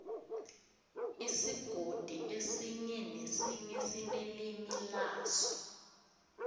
isigodi esinye nesinye sinelimi laso